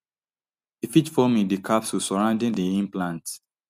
e fit form in di capsule surrounding di implant